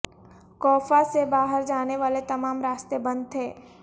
کوفہ سے باہر جانے والے تمام راستے بند تھے